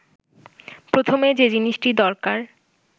প্রথমে যে জিনিসটি দরকার